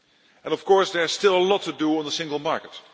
action. And of course there is still a lot to do on the single